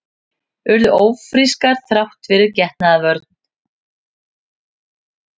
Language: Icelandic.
Urðu ófrískar þrátt fyrir getnaðarvörn